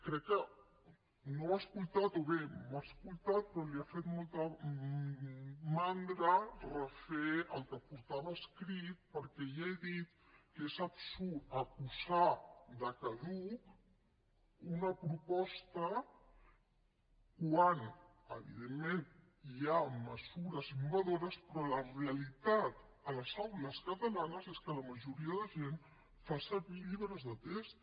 crec que no m’ha escoltat o bé m’ha escoltat però li ha fet molta mandra refer el que portava escrit perquè ja he dit que és absurd acusar de caduca una proposta quan evidentment hi ha mesures innovadores però la realitat a les aules catalanes és que la majoria de gent fa servir llibres de text